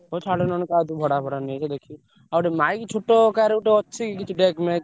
ହଉ ଛାଡ ନହେଲେ ଦେଖି କାହାଠୁ ଭଡା ଫଡା ନେଇ ଆସିବା ଦେଖିକି ଆଉ mic ଛୋଟ କାହାର ଗୋଟେ ଅଛି ।